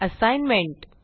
assignment